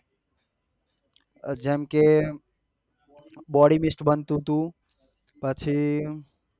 જેમ કે body mist બનતું હતું પછી